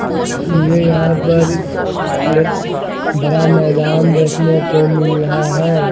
अ ये यहां पर ये भरा मैदान देखने को मिल रहा है।